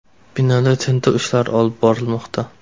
Binoda tintuv ishlari olib borilmoqda.